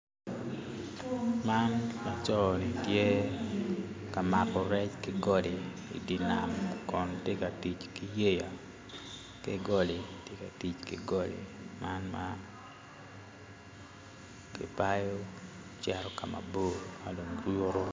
Man laco ni tye ka mako rec kigode ki nam kun tye ka tic ki yeya ki golle tye ka tic ki golli man ma kibao cito kama bor